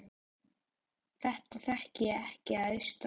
Þetta þekkti ég ekki að austan.